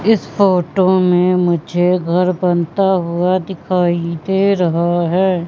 इस फोटो में मुझे घर बनता हुआ दिखाई दे रहा है।